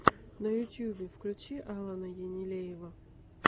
на ютьюбе включи алана енилеева